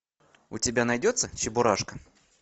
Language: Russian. у тебя найдется чебурашка